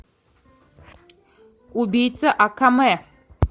убийца акаме